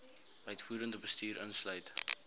uitvoerende bestuur insluit